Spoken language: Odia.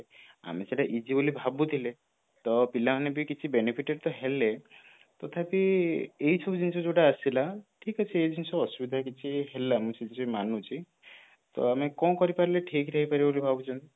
ଆମେ ସେଇଟା ହେଇଯିବ ବୋଲି ଭାବୁଥିଲେ ତ ପିଲାମାନେ ବି କିଛି benefit ତ ହେଲେ ତଥାପି ଏଇ ସବୁ ଜିନିଷ ଯୋଉଟା ଆସିଲା ଠିକ ଅଛି ଏଇଜିନିଷ ଅସୁବିଧା କିଛି ହେଲାନି ସେ ଯେ ମାନୁଛି ତ ଆମେ କଣ କରିପାରିଲେ ଠିକରେ ହେଇପାରିବ ବୋଲି ଆପଣ ଭାବୁଛନ୍ତି